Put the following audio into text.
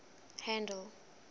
handle